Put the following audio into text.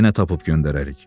Yenə tapıb göndərərik.